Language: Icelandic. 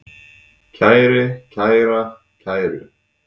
kæri, kæra, kæru